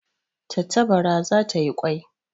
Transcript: Tantabara za ta yi kwai